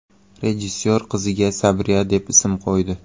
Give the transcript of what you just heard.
Rejissor qiziga Sabriya deb ism qo‘ydi.